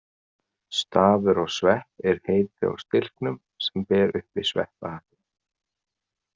Stafur á svepp er heiti á stilknum sem ber uppi sveppahattinn.